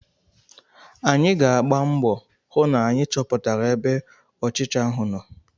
Anyị ga-agba mbọ hụ na anyị chọpụtara ebe ọchịcha ahụ nọ.